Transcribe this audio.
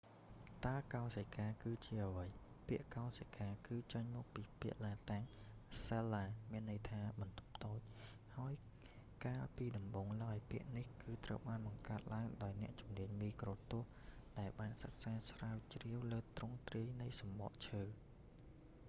តើកោសិកាគឺជាអ្វី ពាក្យ កោសិកា គឺចេញមកពីពាក្យឡាតាំង ស៊ែលឡា cella មានន័យថា បន្ទប់តូច ហើយកាលពីដំបូងឡើយ ពាក្យនេះគឺត្រូវបានបង្កើតឡើងដោយអ្នកជំនាញមីក្រូទស្សន៍ដែលបានសិក្សាស្រាវជ្រាវលើទ្រង់ទ្រាយនៃសំបកឈើ